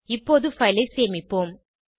இப்போது பைல் ஐ சேமிப்போம்